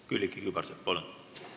Külliki Kübarsepp, palun!